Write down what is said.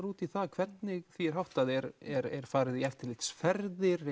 út í það hvernig því er háttað er er farið í eftirlitsferðir